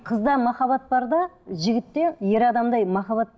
қызда махаббат бар да жігітте ер адамдай махаббат